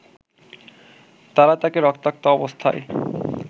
তারা তাকে রক্তাক্ত অবস্থায়